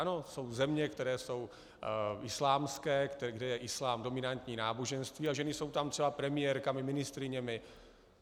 Ano, jsou země, které jsou islámské, kde je islám dominantní náboženství, a ženy jsou tam třeba premiérkami, ministryněmi.